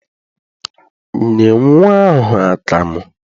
Nye nnwa ahụ akamụ!